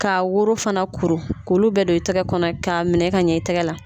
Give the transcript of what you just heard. Ka woro fana kuru k'olu bɛɛ don i tɛgɛ kɔnɔ k'a minɛ ka ɲɛ i tigɛ la.